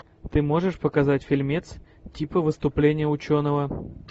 ты можешь показать фильмец типа выступления ученого